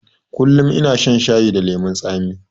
Kullum ina shan shayi da lemon tsami